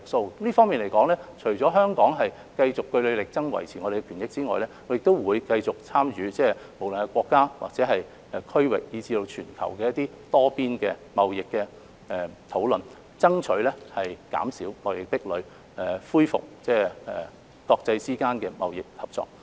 就這方面，香港除了會繼續據理力爭，維護我們的權益外，亦會繼續參與無論是國家或區域以至全球的多邊貿易討論，以爭取減少貿易壁壘，恢復國際之間的貿易合作。